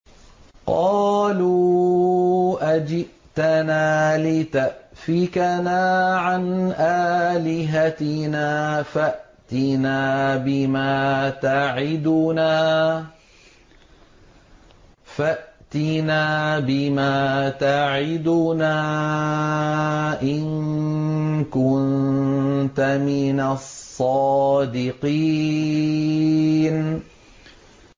قَالُوا أَجِئْتَنَا لِتَأْفِكَنَا عَنْ آلِهَتِنَا فَأْتِنَا بِمَا تَعِدُنَا إِن كُنتَ مِنَ الصَّادِقِينَ